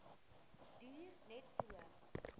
duur net so